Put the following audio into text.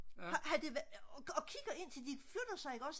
og kigger indtil de flytter sig ikke også